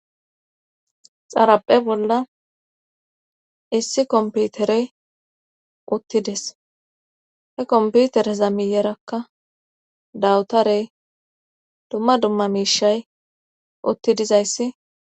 xaraphe bolla issi komputerey uttides he komputer zamiyerakka dawutarey dumma dumma miishay utti dizayssi